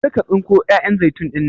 Kar ka tsinko 'ya'yan zaitun ɗinnan!